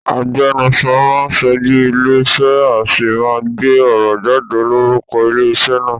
Agbenuso máán ṣojú ilé ìṣe, a sì máa gbé ọ̀rọ̀ jáde lórúko ilé ìṣe naa